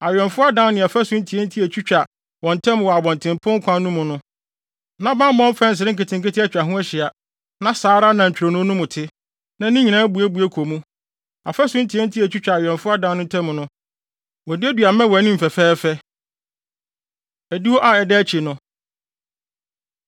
Awɛmfo adan ne afasu ntiantia a etwitwa wɔn ntam wɔ abɔntenpon kwan no mu no, na bammɔ mfɛnsere nketenkete atwa ho ahyia, na saa ara na ntwironoo no mu te, na ne nyinaa buebue kɔ mu. Afasu ntiatia a etwitwa awɛmfo adan no ntam no, wɔaduadua mmɛ wɔ anim fɛfɛɛfɛ. Adiwo A Ɛda Akyi No